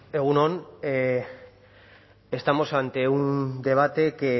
bueno egun on estamos ante un debate que